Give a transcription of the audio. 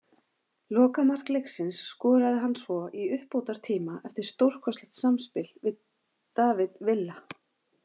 Lokamark leiksins skoraði hann svo í uppbótartíma eftir stórkostlegt samspil við David Villa.